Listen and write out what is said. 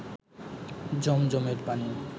জমজমের পানি